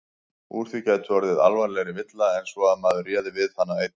Úr því gæti orðið alvarlegri villa en svo að maður réði við hana einn.